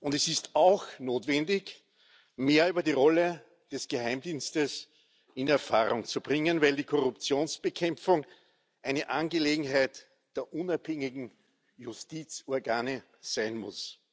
Es ist auch notwendig, mehr über die Rolle des Geheimdienstes in Erfahrung zu bringen, weil die Korruptionsbekämpfung eine Angelegenheit der unabhängigen Justizorgane sein muss.